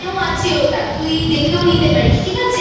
আছে ওটা তুই দেখেও নিতে পারিস ঠিক আছে?